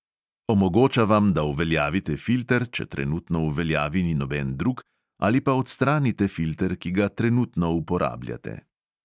Omogoča vam, da uveljavite filter, če trenutno v veljavi ni noben drug, ali pa da odstranite filter, ki ga trenutno uporabljate.